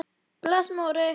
Bless Móri!